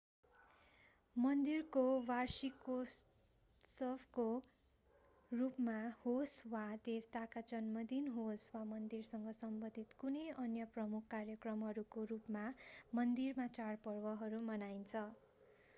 मन्दिरको वार्षिकोत्सवको रूपमा होस्‌ वा देवताका जन्मदिन होस्‌ वा मन्दिरसँग सम्बन्धित कुनै अन्य प्रमुख कार्यक्रमहरूको रूपमा मन्दिरमा चाडपर्वहरू मनाइन्छ।